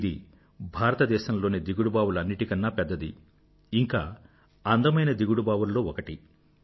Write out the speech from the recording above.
ఇది భారతదేశంలోని దిగుడుబావులు అన్నింటికన్నా పెద్దది ఇంకా అందమైన దిగుడుబావులలో ఒకటి